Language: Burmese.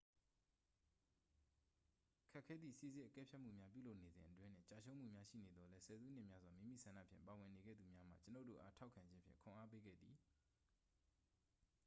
ခက်ခဲသည့် စိစစ်အကဲဖြတ်မှုများပြုလုပ်နေစဉ်အတွင်း နှင့်ကျရှုံးမှုများရှိနေသော်လည်း ဆယ်စုနှစ်များစွာ မိမိဆန္ဒဖြင့်ပါဝင်နေခဲ့သူများမှ ကျွန်ုပ်တို့အား ထောက်ခံခြင်းဖြင့် ခွန်အားပေးခဲ့သည်